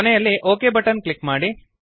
ಕೊನೆಯಲ್ಲಿ okay button click ಮಾಡಿ